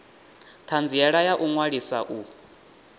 thanziela ya u ṅwalisa u